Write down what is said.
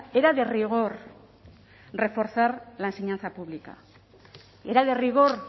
era de rigor reforzar la enseñanza pública era de rigor